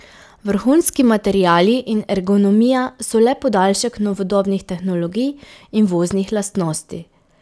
Vrhunski materiali in ergonomija so le podaljšek novodobnih tehnologij in voznih lastnosti.